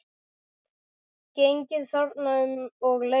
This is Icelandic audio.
Gengið þarna um og leiðst.